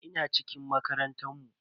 Ina cikin makarantar mu.